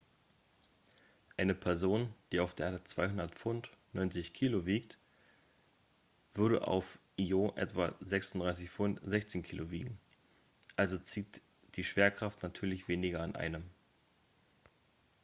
eine person die auf der erde 200 pfund 90 kg wiegt würde auf io etwa 36 pfund 16 kg wiegen. also zieht die schwerkraft natürlich weniger an einem